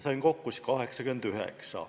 Sain kokku 89.